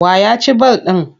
Wa ya ci ball ɗin?